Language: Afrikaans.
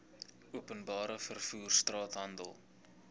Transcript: openbare vervoer straathandel